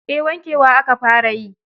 Eh, wankewa aka fara yi.